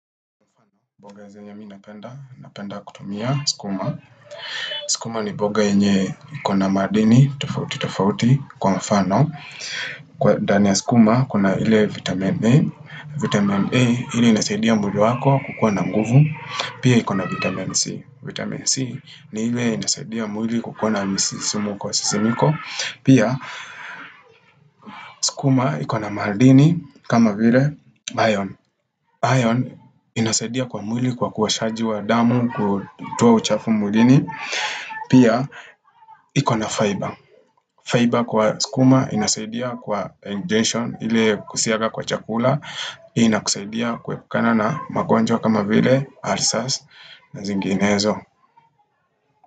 Mboga zenye mi napenda, napenda kutumia skuma. Skuma ni mboga yeye ikona madini tofauti tofauti kwa mfano. Kwa ndani ya sukuma kuna ile vitamin A. Vitamin A ile inasaidia mdundo wako kukua na nguvu. Pia ikona vitamin C. Vitamin C ni ile inasaidia mwili kukua na misisimkosisimiko. Pia sukuma ikona madini kama vile iron. Iron inasaidia kwa mwili kwa kuoshaji wa damu kutoa uchafu mwilini Pia, iko na fiber Fiber kwa sukuma inasaidia kwa injection ili kusiaga kwa chakula ina kusaidia kuepukana na magonjwa kama vile, ulcers na zinginezo.